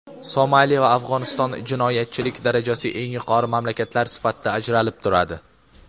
Somali va Afg‘oniston jinoyatchilik darajasi eng yuqori mamlakatlar sifatida ajralib turadi.